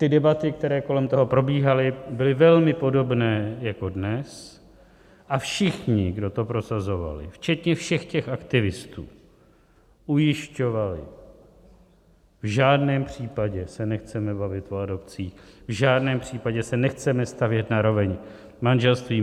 Ty debaty, které kolem toho probíhaly, byly velmi podobné jako dnes a všichni, kdo to prosazovali, včetně všech těch aktivistů, ujišťovali: V žádném případě se nechceme bavit o adopcích, v žádném případě se nechceme stavět na roveň manželství.